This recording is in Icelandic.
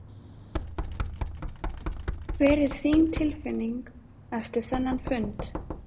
Hver er þín tilfinning eftir þennan fund?